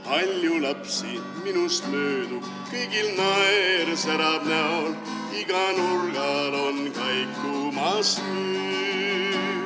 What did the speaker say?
Palju lapsi minust möödub, kõigil naer särab näol, igal nurgal on kaikumas hüüd.